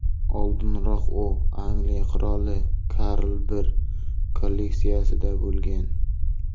Oldinroq u Angliya qiroli Karl I kolleksiyasida bo‘lgan.